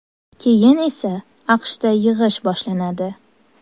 Keyin esa AQShda yig‘ish boshlanadi.